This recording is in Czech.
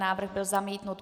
Návrh byl zamítnut.